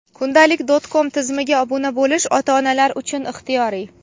Kundalik.com tizimiga obuna bo‘lish ota-onalar uchun ixtiyoriy.